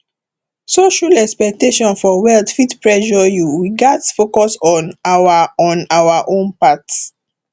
social expectation for wealth fit pressure you we gats focus on our on our own path